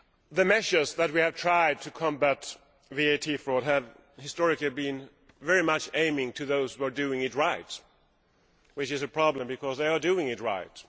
The measures that we have tried to combat VAT fraud have historically been very much aimed at those who are doing it right which is a problem because they are doing it right.